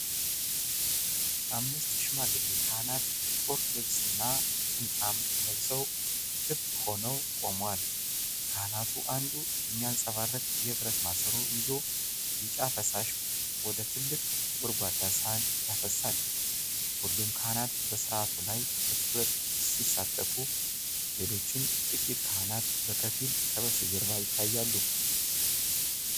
አምስት ሽማግሌ ካህናት ጥቁር ልብስና ጥምጣም ለብሰው ክብ ሆነው ቆመዋል። ከካህናቱ አንዱ የሚያብረቀርቅ የብረት ማሰሮ ይዞ ቢጫ ፈሳሽ ወደ ትልቅ ጎድጓዳ ሳህን ያፈሳል። ሁሉም ካህናት በሥርዓቱ ላይ በትኩረት ሲሳተፉ ሌሎችም ጥቂት ካህናት በከፊል ከበስተጀርባ ይታያሉ።